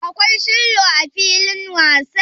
Akwai shillo a filin wasan.